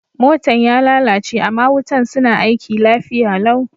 Motan ya lallace ama wutan suna aiki lafiya lau.